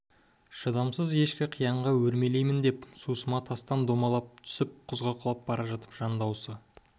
шыдамсыз ешкі қиянға өрмелеймін деп сусыма тастан домалап түсіп құзға құлап бара жатып жан дауысы